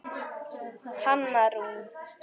Hanna Rún.